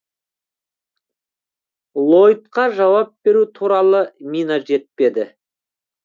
лойдқа жауап беру туралы мина жетпеді